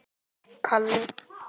Svo ég laug.